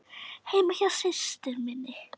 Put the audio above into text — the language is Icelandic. Heima hjá systur minni?